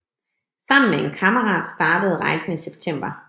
Sammen med en kammerat startede rejsen i september